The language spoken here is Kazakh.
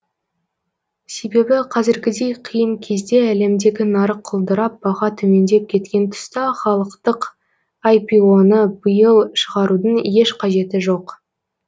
себебі қазіргідей қиын кезде әлемдегі нарық құлдырап баға төмендеп кеткен тұста халықтық іро ны биыл шығарудың еш қажеті жоқ